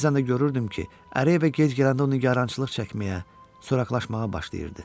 Bəzən də görürdüm ki, Ərəyevə gec gələndə o nigarançılıq çəkməyə, soraqlaşmağa başlayırdı.